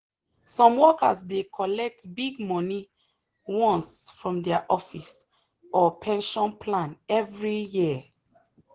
some workers dey collect big money once from their office or pension plan every year.